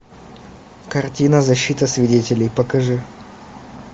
картина защита свидетелей покажи